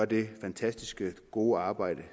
det fantastisk gode arbejde